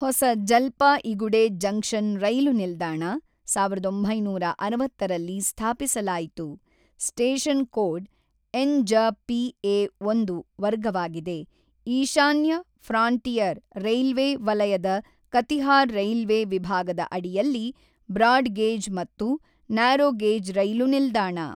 ಹೊಸ ಜಲ್ಪಾಇಗುಡೆ ಜಂಕ್ಷನ್ ರೈಲು ನಿಲ್ದಾಣ ಸಾವಿರದ ಒಂಬೈನೂರ ಅರವತ್ತ ರಲ್ಲಿ ಸ್ಥಾಪಿಸಲಾಯಿತು ಸ್ಟೇಷನ್ ಕೋಡ್ ಎನ್.ಜ.ಪಿ ಎ ಒಂದು ವರ್ಗವಾಗಿದೆ ಈಶಾನ್ಯ ಫ್ರಾಂಟಿಯರ್ ರೈಲ್ವೆ ವಲಯದ ಕತಿಹಾರ್ ರೈಲ್ವೆ ವಿಭಾಗದ ಅಡಿಯಲ್ಲಿ ಬ್ರಾಡ್ ಗೇಜ್ ಮತ್ತು ನ್ಯಾರೋ ಗೇಜ್ ರೈಲು ನಿಲ್ದಾಣ.